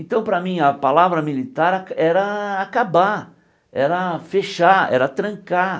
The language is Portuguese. Então, para mim, a palavra militar a era acabar, era fechar, era trancar.